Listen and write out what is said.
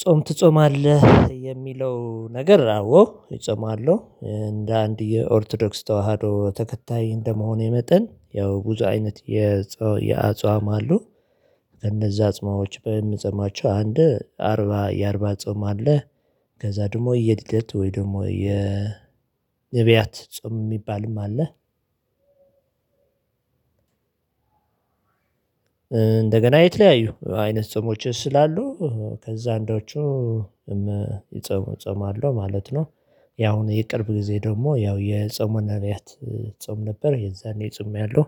ጾም ትጾማለህ? የሚለው ነገር አዎ እጾማለሁ እንደ አንድ የኦርቶዶክስ ተዋህዶ ተከታይ እንደመሆኔ የመጠን ያው ብዙ አይነት የአጽዋም አሉ እነዛ አጽማዎች በምጸማቸው አንድ አርባ የአርባ ጾም አለ ከዛ ደግሞ የሊደት ወይ ደግሞ የንብያት ጾም የሚባልም አለ እንደገና የተለያዩ አይነት ጾሞችስ ስላሉ ከዛ አንዳዎቹ እጾማሉ ማለት ነው ያው የቅርብ ጊዜ ደግሞ ያው የጾመ ነብያት ጾም ነበር የዛኔ ጾሜያለው